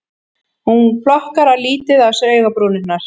Hún plokkar lítið á sér augabrúnirnar